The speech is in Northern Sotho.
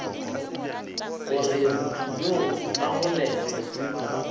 gore motho yoo a golegwe